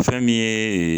Fɛn min ye